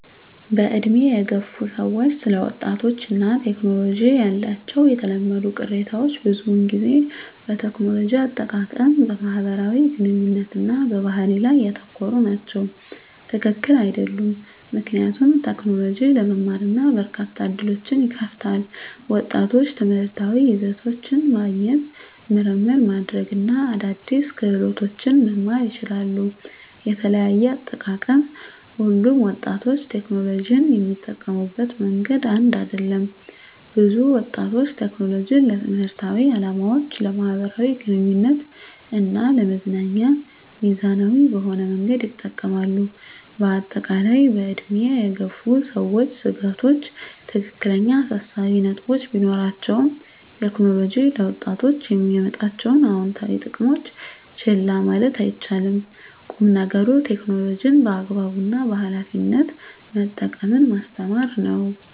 በዕድሜ የገፉ ሰዎች ስለ ወጣቶች እና ቴክኖሎጂ ያላቸው የተለመዱ ቅሬታዎች ብዙውን ጊዜ በቴክኖሎጂ አጠቃቀም፣ በማህበራዊ ግንኙነት እና በባህሪ ላይ ያተኮሩ ናቸው። # ትክክል አይደሉም ምክንያቱም: ቴክኖሎጂ ለመማር እና በርካታ ዕድሎችን ይከፍታል። ወጣቶች ትምህርታዊ ይዘቶችን ማግኘት፣ ምርምር ማድረግ እና አዳዲስ ክህሎቶችን መማር ይችላሉ። * የተለያየ አጠቃቀም: ሁሉም ወጣቶች ቴክኖሎጂን የሚጠቀሙበት መንገድ አንድ አይደለም። ብዙ ወጣቶች ቴክኖሎጂን ለትምህርታዊ ዓላማዎች፣ ለማኅበራዊ ግንኙነት እና ለመዝናኛ ሚዛናዊ በሆነ መንገድ ይጠቀማሉ። በአጠቃላይ፣ በዕድሜ የገፉ ሰዎች ስጋቶች ትክክለኛ አሳሳቢ ነጥቦች ቢኖራቸውም፣ ቴክኖሎጂ ለወጣቶች የሚያመጣቸውን አዎንታዊ ጥቅሞች ችላ ማለት አይቻልም። ቁም ነገሩ ቴክኖሎጂን በአግባቡ እና በኃላፊነት መጠቀምን ማስተማር ነው።